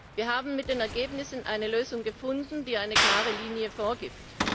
Wir haben mit den Ergebnissen eine Lösung gefunden, die eine klare Linie vorgibt.